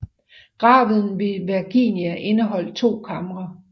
Graven ved Vergina indeholder to kamre